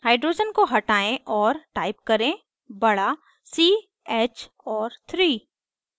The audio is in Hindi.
hydrogen को हटायें और type करें बड़ा c hऔर 3